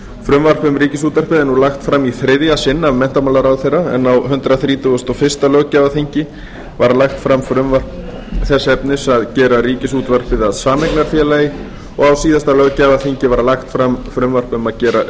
frumvarp um ríkisútvarpið er nú lagt fram í þriðja sinn af menntamálaráðherra en á hundrað þrítugasta og fyrsta löggjafarþingi var lagt fram frumvarp þess efnis að gera ríkisútvarpið að sameignarfélagi og á síðasta löggjafarþingi var lagt fram frumvarp um að gera